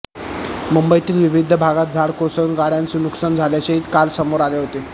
मुंबईतील विविध भागात झाड कोसळून गाड्यांचं नुकसान झाल्याचेही काल समोर आले होते